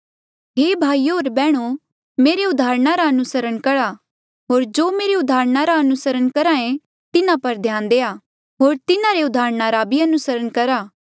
हे भाईयो होर बैहणो मेरे उदाहरणा रा अनुसरण करहा होर जो मेरे उदाहरणा रा अनुसरण करहे तिन्हा पर ध्यान देआ होर तिन्हारे उदाहरणा भी अनुसरण करहा